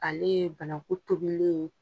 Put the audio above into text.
Ale ye banaku tobilen ye